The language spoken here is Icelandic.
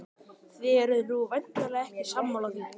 Þið eruð nú væntanlega ekki sammála því?